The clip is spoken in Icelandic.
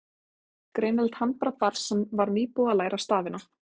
Greinilegt handbragð barns sem var nýbúið að læra stafina.